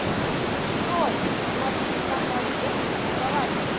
джой смотреть канал первый образовательный